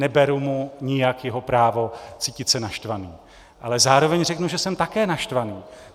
Neberu mu nijak jeho právo cítit se naštvaný, ale zároveň řeknu, že jsem také naštvaný.